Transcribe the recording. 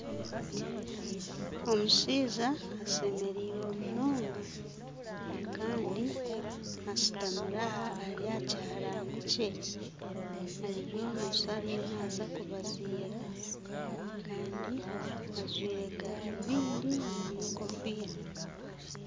Omushaija ashemerirwe munonga, kandi ashutamire aha ari aha kiharaani kye. Ariyo noshusha ariyo naaza kubaziira, kandi ajwaire garubindi n'enkofiira.